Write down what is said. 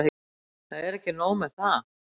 Það er ekki nóg með það.